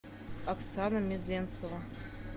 оксана мезенцева